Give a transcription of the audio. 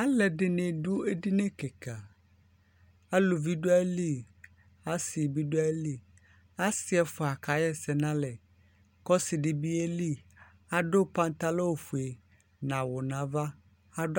alʊɛɗɩnɩ aɗʊ eɗɩnɩ ƙɩƙa alʊʋɩnɩɗʊ atamɩlɩ asɩnɩɓɩɗʊ atamɩlɩ asɩ ɛfʊa aƙahɛsɛnʊ alɛ ƙʊ ɔsɩɗɩɓɩ ɔƴelɩ aɗʊ atalɛgɓɛ ofʊe nʊ awʊ nʊ aʋa aɗʊ anatsɛƙʊ